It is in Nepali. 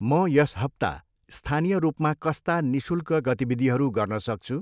म यस हप्ता स्थानीय रूपमा कस्ता निःशुल्क गतिविधिहरू गर्न सक्छु?